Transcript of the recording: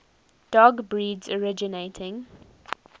dog breeds originating